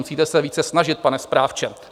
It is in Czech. Musíte se více snažit, pane správče."